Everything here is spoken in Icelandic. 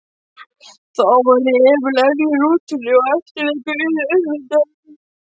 Þá væri Emil enn í rútunni og eftirleikurinn yrði auðveldur.